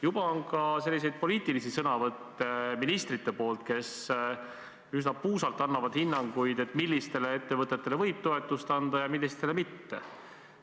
Juba on kuulda ka poliitilisi sõnavõtte ministritelt, kes üsna puusalt annavad hinnanguid, millistele ettevõtetele võib toetust anda ja millistele mitte.